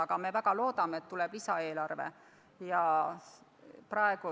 Aga me väga loodame, et tuleb lisaeelarve.